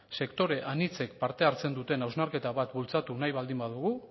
sektore anitzek parte hartzen duten hausnarketa bat bultzatu nahi baldin badugu